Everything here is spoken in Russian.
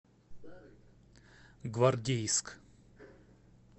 гвардейск